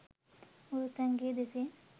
මුළුතැන් ගේ දෙසින්